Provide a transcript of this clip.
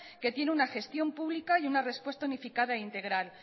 que tiene la gestión pública y una respuesta unificada integral